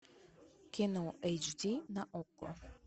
кино эйч ди на окко